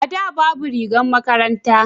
a da babu rigar makaranta